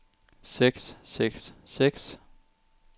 seks seks seks